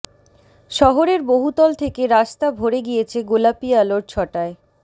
শহরের বহুতল থেকে রাস্তা ভরে গিয়েছে গোলাপি আলোর ছটায়